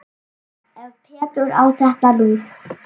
Ef Pétur á þetta nú.